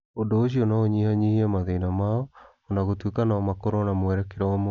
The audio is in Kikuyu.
Ũndũ ũcio no ũnyihanyihie mathĩna mao o na gũtuĩka no makorũo na mwerekera ũmwe.